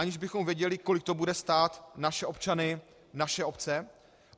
Aniž bychom věděli, kolik to bude stát naše občany, naše obce?